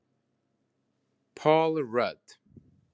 Paul Rudd